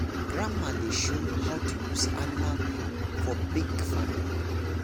grandpapa dey show how to use animal plough for big farm work.